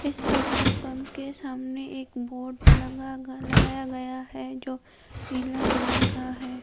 इस petrol pump के सामने एक बोर्ड लगा गा लगाया गया है जो नीला कलर का है।